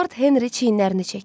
Lord Henri çiynlərini çəkdi.